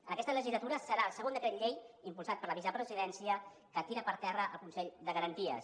en aquesta legislatura serà el segon decret llei impulsat per la vicepresidència que tira per terra el consell de garanties